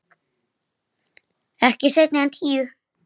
Ekki seinna en tíu.